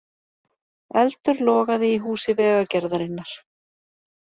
Eldur logaði í húsi Vegagerðarinnar